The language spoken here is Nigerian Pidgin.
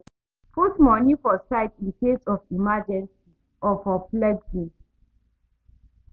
Put money for side incase of emergency or for flexing